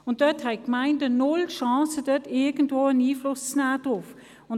Hier haben die Gemeinden keine Chance, irgendwie Einfluss zu nehmen.